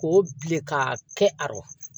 K'o bilen ka kɛ a rɔ